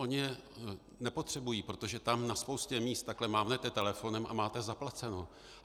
Oni je nepotřebují, protože tam na spoustě míst takhle mávnete telefonem a máte zaplaceno.